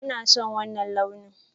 Ina son wanna launin.